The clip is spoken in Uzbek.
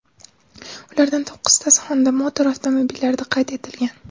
Ulardan to‘qqiztasi Honda Motor avtomobillarida qayd etilgan.